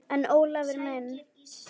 En Ólafur minn.